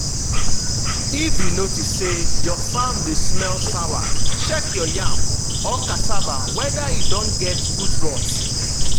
if you notice say your farm dey smell sour check your yam or cassava whether e don get root rot.